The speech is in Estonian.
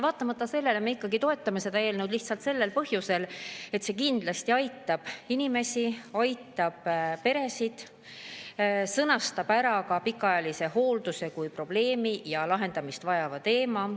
Vaatamata sellele me ikkagi toetame seda eelnõu, lihtsalt sellel põhjusel, et see kindlasti aitab inimesi, aitab peresid, sõnastab ära ka pikaajalise hoolduse kui probleemi ja lahendamist vajava teema.